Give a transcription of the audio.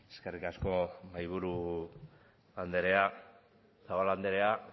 eskerrik asko mahaiburu andrea zabala andrea